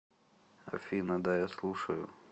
афина да я слушаю